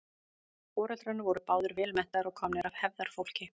foreldrarnir voru báðir vel menntaðir og komnir af hefðarfólki